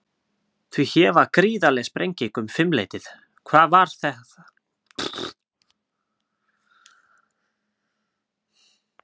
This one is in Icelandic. Því hér var gríðarleg sprenging um fimm leytið, hvað var þar að gerast?